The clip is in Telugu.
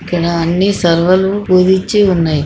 ఇక్కడ అన్నీ సరవలు పూజి ఇచ్చి ఉన్నాయి.